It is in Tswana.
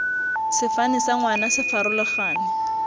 sefane sa ngwana se farologane